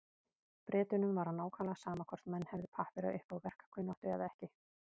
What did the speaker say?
Bretunum var nákvæmlega sama hvort menn hefðu pappíra upp á verkkunnáttuna eða ekki.